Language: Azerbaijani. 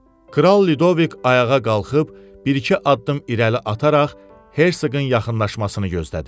Kral Ludovik ayağa qalxıb, bir-iki addım irəli ataraq hersoqun yaxınlaşmasını gözlədi.